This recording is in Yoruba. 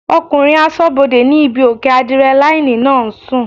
Ọkùnrin asọ́bodè ní ibí òkè ádírẹ́láínì náà ń sùn